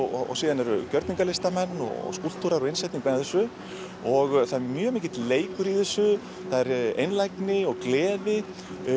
og síðan eru gjörningalistamenn og skúlptúrar og innsetningar með þessu og það er mjög mikill leikur í þessu einlægni og gleði